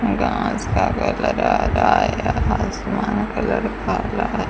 यहां आसमान कलर काला है।